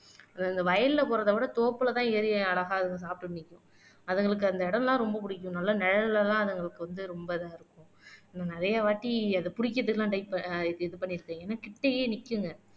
அது இந்த வயல்ல போறதை விட தோப்புலதான் ஏறி அழகா சாப்பிட்டு நிக்கும் அதுங்களுக்கு அந்த இடம் எல்லாம் ரொம்ப பிடிக்கும் நல்லா நிழல்ல எல்லாம் அதுங்களுக்கு வந்து ரொம்ப இதா இருக்கும் இன்னும் நிறையவாட்டி அதை பிடிக்கிறதுக்கு எல்லாம் ட்ரை ஆஹ் இது பண்ணிருக்கீங்க ஏன்னா கிட்டயே நிக்குங்க